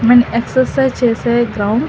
మనం ఎక్సర్సైజ్ చేసే గ్రౌండ్ .